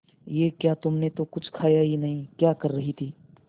ये क्या तुमने तो कुछ खाया ही नहीं क्या कर रही थी